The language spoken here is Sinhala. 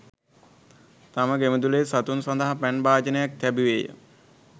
තම ගෙමිදුලෙහි සතුන් සඳහා පැන් භාජනයක් තැබුවේ ය.